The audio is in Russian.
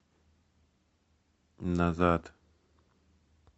назад